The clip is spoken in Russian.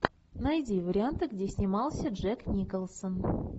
найди варианты где снимался джек николсон